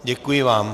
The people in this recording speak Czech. Děkuji vám.